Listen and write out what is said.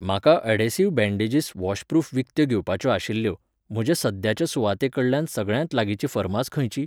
म्हाका adhesive bandages washproof विकत्यो घेवपाच्यो आशिल्ल्यो, म्हज्या सद्याच्या सुवाते कडल्यान सगळ्यांत लागींची फार्मास खंयची?